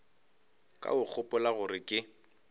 ka o gopola gore ke